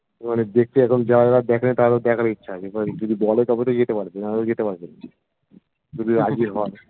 এবারে দেখতে এখন যারা যারা দেখেনি তাদের দেখার ইচ্ছা আছে কিন্তু যদি বলে তবে তো যেতে পারবে নাহলে তো যেতে পারবে না যদি রাজি হয়